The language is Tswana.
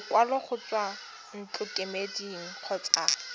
lekwalo go tswa ntlokemeding kgotsa